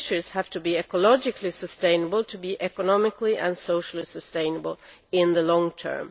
Fisheries have to be ecologically sustainable in order to be economically and socially sustainable in the long term.